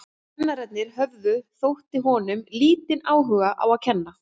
Kennararnir höfðu, þótti honum, lítinn áhuga á að kenna.